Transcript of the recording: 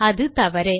அது தவறு